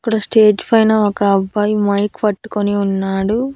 అక్కడ స్టేజ్ పైన ఒక అబ్బాయి మైక్ పట్టుకొని ఉన్నాడు.